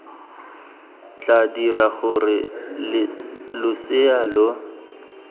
tla dira gore losea lo